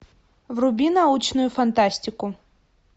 вруби научную фантастику